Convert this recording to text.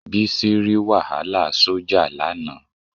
Bísí rí wàhálà sójà lánàá